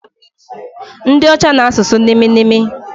Ndi ocha na asusu nimi nimi